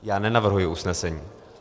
Já nenavrhuji usnesení.